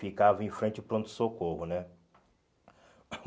Ficava em frente ao pronto-socorro, né?